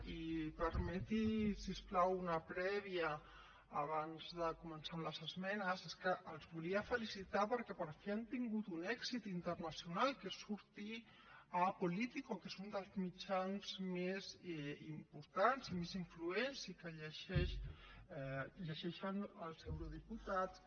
i permeti’m si us plau una prèvia abans de començar amb les esmenes és que els volia felicitar perquè per fi han tingut un èxit internacional que és sortir a político que és un dels mitjans més importants més influents i que llegeixen els eurodiputats